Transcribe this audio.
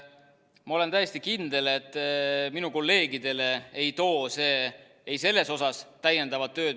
Ma olen täiesti kindel, et minu kolleegidele ei too see selles osas täiendavat tööd.